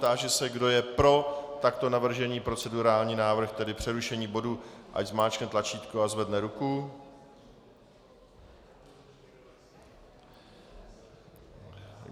Táži se, kdo je pro takto navržený procedurální návrh, tedy přerušení bodu, ať zmáčkne tlačítko a zvedne ruku.